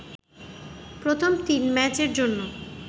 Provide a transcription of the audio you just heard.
প্রথম তিন ম্যাচের জন্য